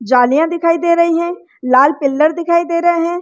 जलीया दिखाई दे रही है लाल पिलर दिखाई दे रहे है।